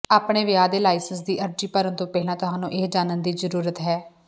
ਆਪਣੇ ਵਿਆਹ ਦੇ ਲਾਇਸੈਂਸ ਦੀ ਅਰਜ਼ੀ ਭਰਨ ਤੋਂ ਪਹਿਲਾਂ ਤੁਹਾਨੂੰ ਇਹ ਜਾਣਨ ਦੀ ਜ਼ਰੂਰਤ ਹੈ